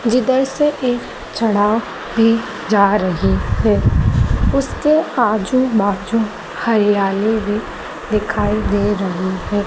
जिधर से एक चढ़ाव भी जा रही है उसके आजू बाजू हरियाली भी दिखाई दे रही हैं।